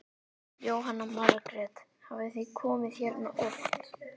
Jóhanna Margrét: Hafið þið komið hérna oft?